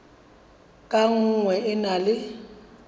ka nngwe e na le